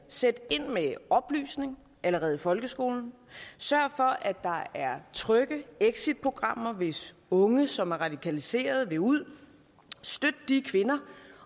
sæt ind med oplysning allerede i folkeskolen sørg for at der er trygge exitprogrammer hvis unge som er radikaliserede vil ud støt de kvinder